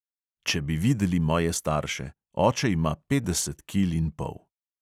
Če bi videli moje starše, oče ima petdeset kil in pol.